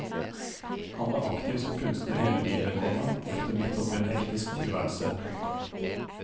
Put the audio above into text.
Han var aktiv som kunstner hele livet, komma ofte midt oppe i en hektisk tilværelse. punktum